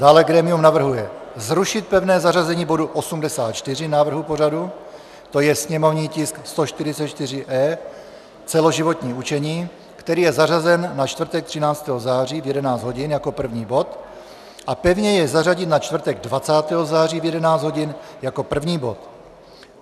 Dále grémium navrhuje zrušit pevné zařazení bodu 84 návrhu pořadu, to je sněmovní tisk 144-E - celoživotní učení, který je zařazen na čtvrtek 13. září v 11 hodin jako první bod, a pevně jej zařadit na čtvrtek 20. září v 11 hodin jako první bod.